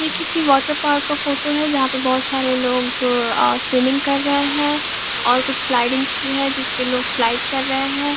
यह किसी water park का फोटो है जहाँ पर बहुत सारे लोग अ स्विमिंग कर रहे हैं और कुछ स्लाइडिंग्स भी है जिस पे लोग स्लाइड कर रहे हैं।